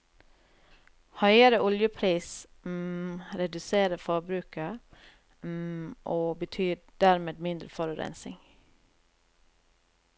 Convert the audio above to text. Høyere oljepris reduserer forbruket, og betyr dermed mindre forurensning.